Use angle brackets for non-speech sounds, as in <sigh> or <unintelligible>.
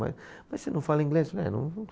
Mas você não fala inglês? Falei é <unintelligible>